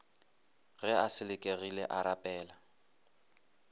ge a selekegile a rapela